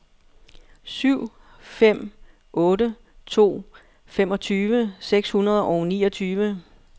syv fem otte to femogtyve seks hundrede og niogtyve